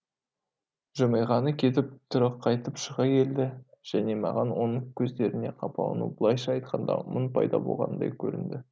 жымиғаны кетіп түрі қатайып шыға келді және маған оның көздерінде қапалану былайша айтқанда мұң пайда болғандай көрінді